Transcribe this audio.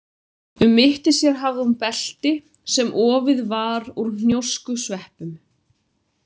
Um mitti sér hafði hún belti sem ofið var úr hnjóskusveppum.